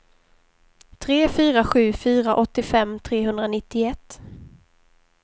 tre fyra sju fyra åttiofem trehundranittioett